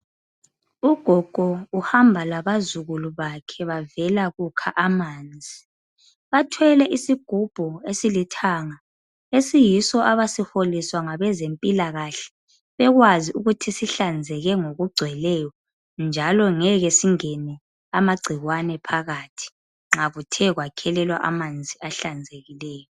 Ugogo uhamba labazukulu bakhe bavela kukha amanzi. Bathwele isigubhu esilithanga, esiyiso abasiholiswa ngabezempilakahle bekwazi ukuthi sihlanzeke ngokugcweleyo, njalo ngeke singene amagcikwane phakathi nxa kuthe kwakhelelwa amanzi ahlanzekileyo.